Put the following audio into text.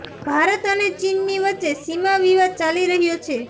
ભારત અને ચીનની વચ્ચે સીમા વિવાદ ચાલી રહ્યો છે